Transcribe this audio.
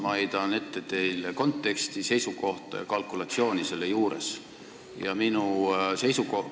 Ma heidan teile ette konteksti, seisukohta ja selle juures olevat kalkulatsiooni.